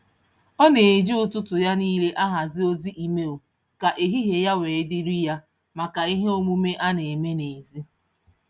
Ọ na-eji ụtụtụ ya niile ahazi ozi email ka ehihie ya wee dịirị ya maka ihe omume a na-eme n'ezi.